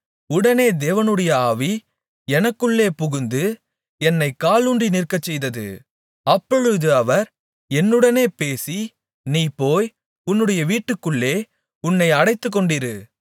உடனே தேவனுடைய ஆவி எனக்குள்ளே புகுந்து என்னைக் காலூன்றி நிற்கச்செய்தது அப்பொழுது அவர் என்னுடனே பேசி நீ போய் உன்னுடைய வீட்டுக்குள்ளே உன்னை அடைத்துக்கொண்டிரு